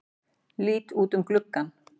Lít út um gluggann.